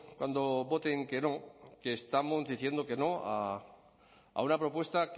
cuando voten que no que estamos diciendo que no a una propuesta